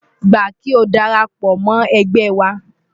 Gbà kí o dara pọ̀ mọ́ ẹgbẹ́ wa!